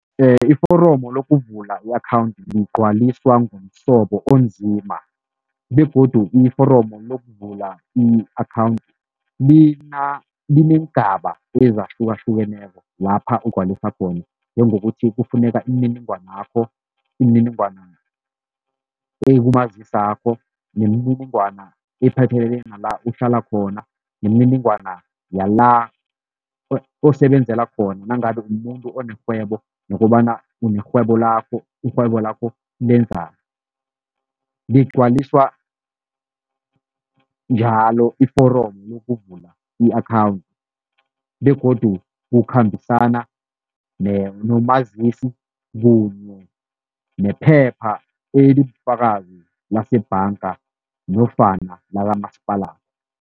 Iforomu lokuvula i-akhawundi ligcwaliswa ngomsobo onzima begodu iforomu lokuvula i-akhawundi lineengaba ezahlukahlukeneko lapha ugcwaliswa khona njengokuthi kufuneka imininingwanakho, imininingwana ekumazisi wakho, nemininingwana ephathelene nala uhlala khona, nemininingwana yala osebenzela khona nangabe umumuntu onerhwebo nokobana unerhwebo lakho, irhwebo lakho lengenzani, ligcwaliswa njalo iforomu lokuvula i-akhawundi begodu kukhambisana nomazisi kunye nephepha elibufakazi lase bhanga nofana lakamasipala.